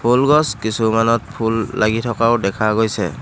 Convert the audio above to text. ফুল গছ কিছুমানত ফুল লাগি থকাও দেখা গৈছে।